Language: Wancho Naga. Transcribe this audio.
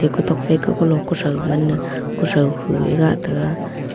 kutok phai ke kulo kuthoi man e kuthoi khu a gah taiga.